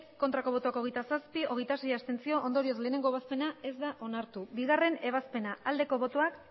bai hogeita zazpi ez hogeita sei abstentzio ondorioz lehenengo ebazpena ez da onartu bigarrena ebazpena bozka dezakegu aldeko botoak